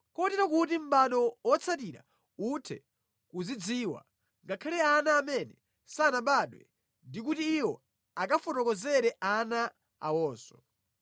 kotero kuti mʼbado wotsatira uthe kuzidziwa, ngakhale ana amene sanabadwe, ndi kuti iwo akafotokozere ana awonso.